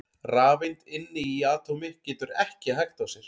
rafeind inni í atómi getur ekki hægt á sér!